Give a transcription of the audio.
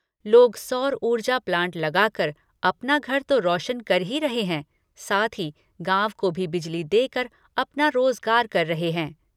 लोग सौर ऊर्जा प्लांट लगाकर अपना घर तो रोशन कर ही रहे हैं साथ ही गांव को भी बिजली देकर अपना रोजगार कर रहे हैं।